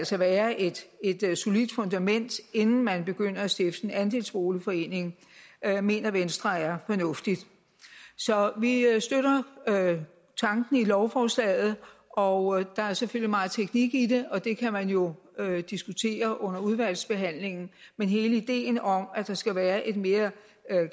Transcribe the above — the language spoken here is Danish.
skal være et solidt fundament inden man begynder at stifte en andelsboligforening mener venstre er fornuftig så vi støtter tanken i lovforslaget og der er selvfølgelig meget teknik i det og det kan man jo diskutere under udvalgsbehandlingen men hele ideen om at der skal være et mere